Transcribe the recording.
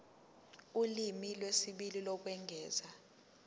ulimi lwesibili lokwengeza